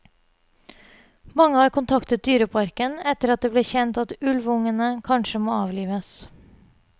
Mange har kontaktet dyreparken etter at det ble kjent at ulvungene kanskje må avlives.